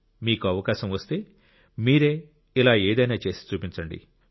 మీకు అవకాశం వస్తే మీరే ఇలా ఏదైనా చేసి చూపించండి